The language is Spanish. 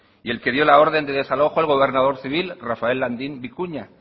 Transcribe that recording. y el que dio la orden de desalojo el gobernador civil rafael landín vicuña